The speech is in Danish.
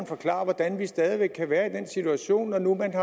forklare hvordan vi stadig væk kan være i den situation